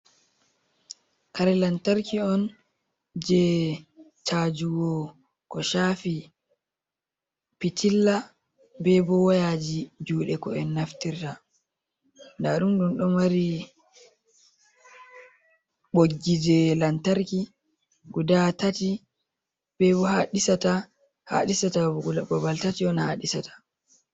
Kare lantarki on je chajugo ko shafi pitilla be bo wayaji juɗe ko en naftirta. Ndaɗum ɗum ɗo mari ɓoggi je lantarki guda tati, babal tati on ha ɗisata.